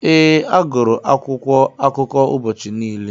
Ee, agụrụ akwụkwọ akụkọ ụbọchị niile.